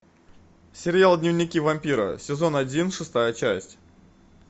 сериал дневники вампира сезон один шестая часть